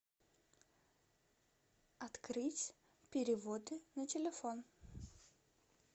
открыть переводы на телефон